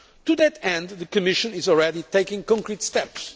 To that end, the Commission is already taking concrete steps.